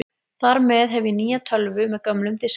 Þar með hef ég nýja tölvu með gömlum diski.